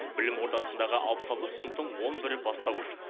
білім ордасындағы алпыс алты сыныптың он бірі бастауыш